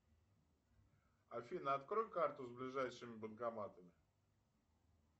афина открой карту с ближайшими банкоматами